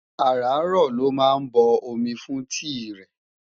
ará ró ló má bo omi fún tii re